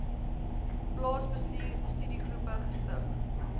plaasbestuur studiegroepe gestig